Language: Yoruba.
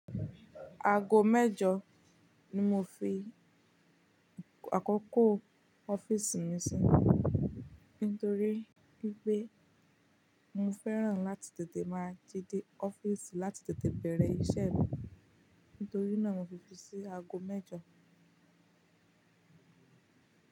Aago mẹ́jọ ni mo fi àkókò ọ́fíìsì mi sí náà, nítorí pé mo fẹ́ràn láti tètè máa jí dé ọ́fíìsì láti tètè bẹ̀rẹ̀ iṣẹ́ mi. Nítorí náà mo fi fi sí aago mẹ́jọ.